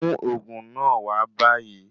Mú òògùn náà wa báyìí